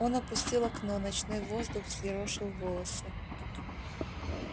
он опустил окно ночной воздух взъерошил волосы